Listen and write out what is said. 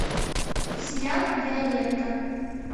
сериал виолетта